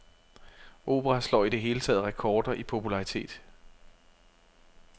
Opera slår i det hele taget rekorder i popularitet.